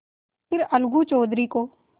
फिर अलगू चौधरी को